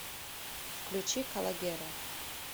включи калогеро